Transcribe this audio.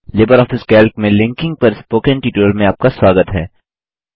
Libre office Calc में linking पर spoken tutorial में आपका स्वागत है